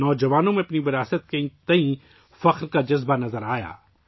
نوجوانوں نے اپنے ورثے پر فخر کا اظہار کیا